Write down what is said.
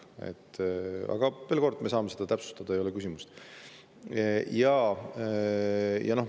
Aga veel kord: me saame seda täpsustada, selles ei ole küsimus.